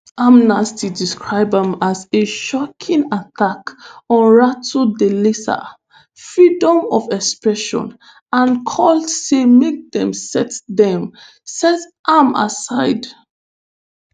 amnesty describe am as "a shocking attack on ratu thalisa freedom of expression" and call say make dem set dem set am aside.